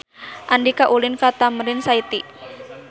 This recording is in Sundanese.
Andika ulin ka Tamrin City